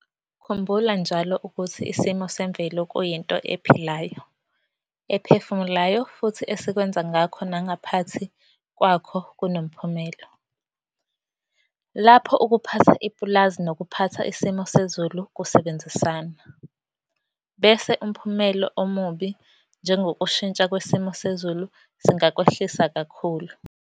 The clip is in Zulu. Khumbula njalo ukuthi isimo semvelo kuyinto ephilayo, ephefumulayo, futhi esikwenza ngakho nangaphathi kwakho kunomphumelo. Lapho ukuphatha ipulazi nokuphatha isimo sezulu kusebenzisana, bese umphumelo omubi njengokushintsha kwesimo sezulu singakwehlisa kakhulu.